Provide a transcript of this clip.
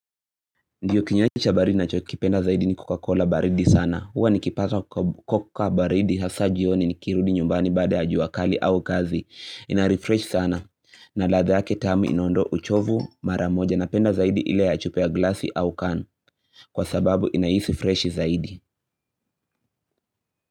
Ndiyo kinywaji baridi nachokipenda zaidi ni kokakola baridi sana, huwa nikipata koka baridi hasaa jioni nikirudi nyumbani baada ya jua kali au kazi, inarefresh sana, na ladha yake tamu inaondoa uchovu mara moja napenda zaidi ile ya chupa ya glasi au can kwa sababu inaisi fresh zaidi.